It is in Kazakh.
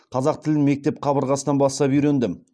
қазақ тілін мектеп қабырғасынан бастап үйрендім